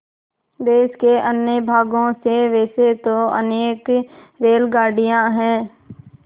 देश के अन्य भागों से वैसे तो अनेक रेलगाड़ियाँ हैं